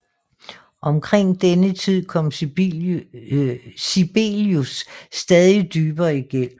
Omkring denne tid kom Sibelius stadig dybere i gæld